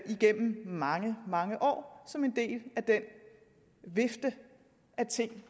igennem mange mange år som en del af den vifte af ting